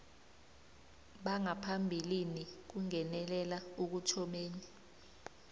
bangaphambilini kungenelela ekuthomeni